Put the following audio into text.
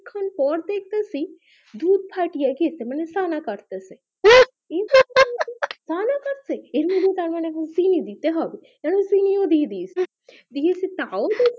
এবার করা দেখতেছি দুধ ফাটিয়ে এবার আর কি সানা কাটতেছি হা হা হা সানা কাটছে মানে আবার এবার আমি দিয়ে দিয়েছি আরো একটু